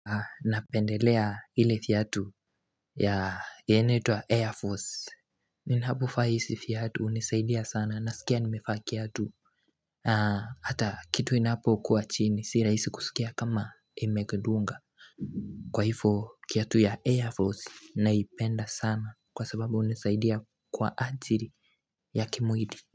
Napendelea ile fiatu ya Yenetua Air Force Ninaapo faisi fiatu unisaidia sana Nasikia nimefa kiatu Hata kitu inapo kwa chini Siraisi kusikia kama emegedunga Kwa hifo kiatu ya Air Force Naipenda sana Kwa sababu unisaidia kwa ajiri ya kimuili.